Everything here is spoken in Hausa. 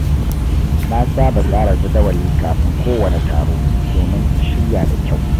Na saba tsara jadawali kafin kowane taro domin in shirya da kyau.